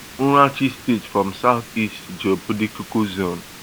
urashi state from south east geopolitical zone